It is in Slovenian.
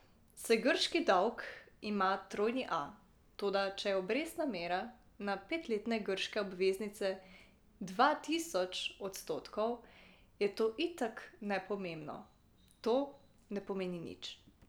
Saj grški dolg ima trojni A, toda če je obrestna mera na petletne grške obveznice dva tisoč odstotkov, je to itak nepomembno, to ne pomeni nič.